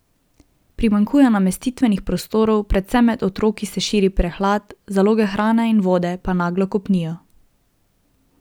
Primanjkuje namestitvenih prostorov, predvsem med otroki se širi prehlad, zaloge hrane in vode pa naglo kopnijo.